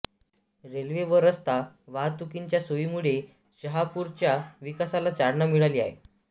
railway व रस्ता वाहतुकींच्या सोयीमुळे शहापूरच्या विकासाला चालना मिळाली आहे